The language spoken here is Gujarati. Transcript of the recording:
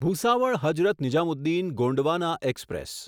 ભૂસાવળ હઝરત નિઝામુદ્દીન ગોંડવાના એક્સપ્રેસ